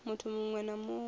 muthu muṅwe na muṅwe a